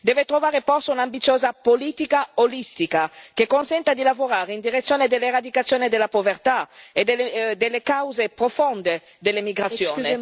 Deve trovare posto un'ambiziosa politica olistica, che consenta di lavorare in direzione dell'eradicazione della povertà e delle cause profonde dell'immigrazione.